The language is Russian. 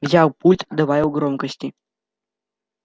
взял пульт добавил громкости